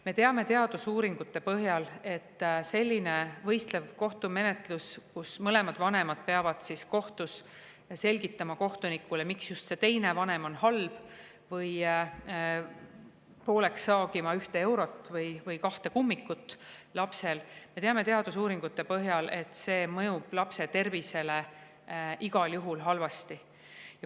Me teame teadusuuringute põhjal, et selline võistlev kohtumenetlus, kus mõlemad vanemad peavad kohtus selgitama kohtunikule, miks just see teine vanem on halb, või pooleks saagima ühte eurot või lapse kahte kummikut, mõjub lapse tervisele igal juhul halvasti.